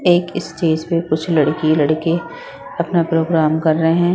एक स्टेज पे कुछ लड़की लड़के अपना प्रोग्राम कर रहे हैं।